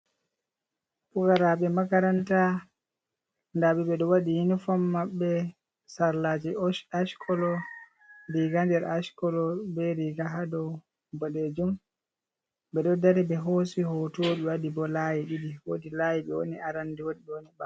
Pukaraɓe makaranta, ndaɓe ɓeɗon waɗi yunifom mabɓe sarlaji ash colo, riga nder ash colo be riga hadow boɗejum, beɗon dari ɓe hosi hoto ɓe waɗi bo layi ɗiɗi wodi layi ɓe woni arande wooɗi ɓewoni ɓawo.